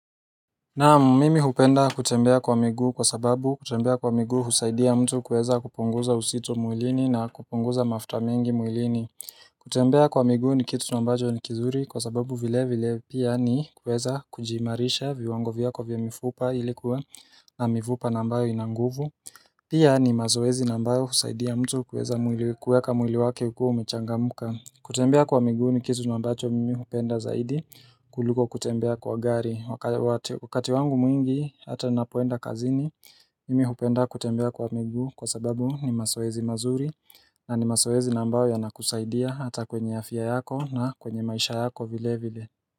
Naam mimi hupenda kutembea kwa miguu kwa sababu kutembea kwa miguu husaidia mtu kuweza kupunguza uzito mwilini na kupunguza mafuta mingi mwilini kutembea kwa miguu ni kitu na ambacho ni kizuri kwa sababu vile vile pia ni kuweza kujiimarisha viwango vyako vya mifupa ilikuwa na mifupa na ambayo ina nguvu Pia ni mazoezi na ambayo husaidia mtu kuweza kuweka mwili wake ukiwa umechangamuka kutembea kwa miguu ni kitu na ambacho mimi hupenda zaidi kuliko kutembea kwa gari Wakati wangu mwingi hata napoenda kazini mimi hupenda kutembea kwa miguu kwa sababu ni mazoezi mazuri na ni mazoezi na ambayo yanakusaidia hata kwenye afya yako na kwenye maisha yako vile vile.